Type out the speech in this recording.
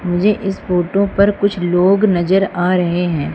मुझे इस फोटो पर कुछ लोग नजर आ रहे है।